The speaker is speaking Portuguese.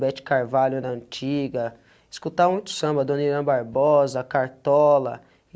Bette Carvalho era antiga, escutava muito samba, Dona Irã Barbosa, a Cartola.